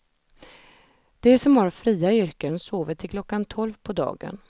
De som har fria yrken sover till klockan tolv på dagen.